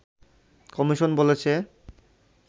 commission বলেছে